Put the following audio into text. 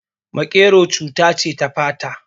Maƙero cuta ce ta fata